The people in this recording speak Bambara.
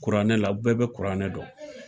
Kuranɛ la u bɛɛ bɛ kuranɛ dɔn.